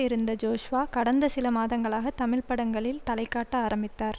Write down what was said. இருந்த ஜோஸ்வா கடந்த சில மாதங்களாக தமிழ் படங்களில் தலைகாட்ட ஆரம்பித்தார்